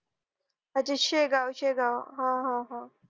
अच्छा शेगाव शेगाव हा हा हा